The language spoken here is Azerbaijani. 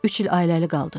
Üç il ailəli qaldıq.